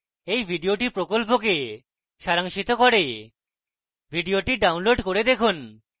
এই video প্রকল্পকে সারাংশিত করে video download করে দেখুন